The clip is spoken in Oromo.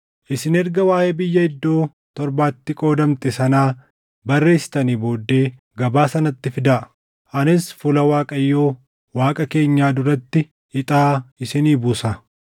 Isin erga waaʼee biyya iddoo torbatti qoodamte sanaa barreessitanii booddee gabaasa natti fidaa; anis fuula Waaqayyo Waaqa keenyaa duratti ixaa isinii buusa.